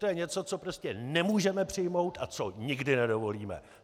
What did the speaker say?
To je něco, co prostě nemůžeme přijmout a co nikdy nedovolíme!